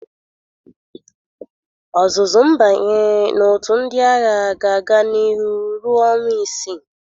Ọzụzụ mbanye na-otu ndị agha ga-aga niru ruọ ọnwa isi.